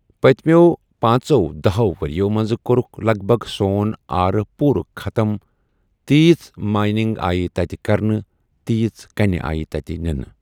پٔتمٮ۪و پٲنٛژٮ۪و دَہٮ۪و ؤریو منٛز کوٚرُکھ لگ بگ سون آر پوٗرٕ خَتٕم تیٖژ مایِنِنٛگ آیہِ تَتہِ کَرنہٕ تیٖژ کَنہِ آے تَتہِ نِنہٕ